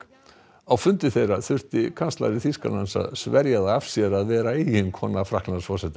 á fundi þeirra þurfti kanslari Þýskalands að sverja það af sér að vera eiginkona Frakklandsforseta